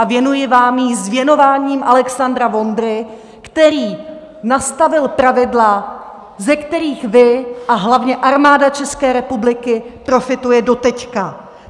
A věnuji vám ji s věnováním Alexandra Vondry, který nastavil pravidla, ze kterých vy a hlavně Armáda České republiky profituje doteď.